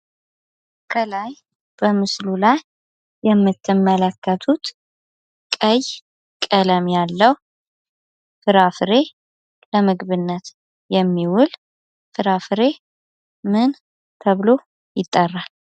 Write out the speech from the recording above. ከላይ በምስሉ ላይ የምትመለከቱት ቀይ ቀለም ያለው ፍራፍሬ ለምግብነት የሚውል ፍራፍሬ ምን ተብሎ ይጠራል?